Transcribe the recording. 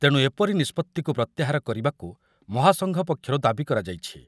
ତେଣୁ ଏପରି ନିଷ୍ପତ୍ତିକୁ ପ୍ରତ୍ୟାହାର କରିବାକୁ ମହାସଂଘ ପକ୍ଷରୁ ଦାବି କରାଯାଇଛି ।